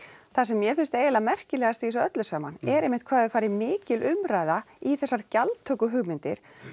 það sem mér finnst eiginlega merkilegast í þessu öllu saman er einmitt hvað hefur farið mikil umræða í þessar gjaldtökuhugmyndir